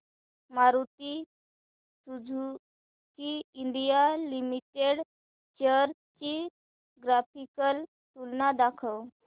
Maruti Suzuki India Limited shares ची graphical तुलना दाखव